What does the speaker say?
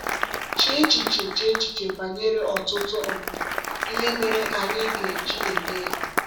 Chee echiche Chee echiche banyere ọtụtụ um ihe mere anyị ga-eji mee ya!